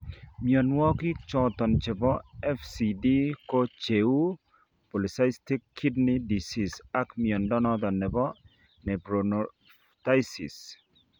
Mnyonuagik choton chebo FCD ko cheuu polycystic kidney disease ak mnyondo noton nebo nephronophthisis